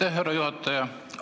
Aitäh, härra juhataja!